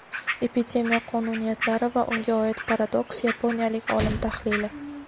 Epidemiya qonuniyatlari va unga oid paradoks - yaponiyalik olim tahlili.